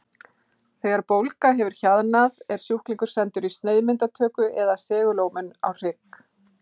Þegar bólga hefur hjaðnað er sjúklingur sendur í sneiðmyndatöku eða segulómun á hrygg.